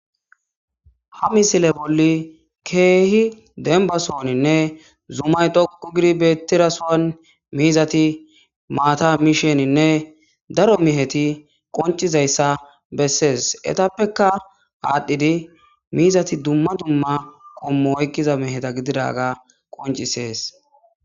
Ha misile bolli keehi denbasooninne zumay doqu girbetirasuwan miizati maata misheninne daro miheti qoncizayssa bessees etappeka aadhdhidi miizati dumma dumma qommo oykqiza miheta gididaga qoncisees.